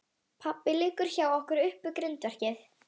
Pabbi liggur hjá okkur upp við grindverkið.